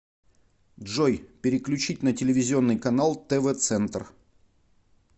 джой переключить на телевизионный канал тв центр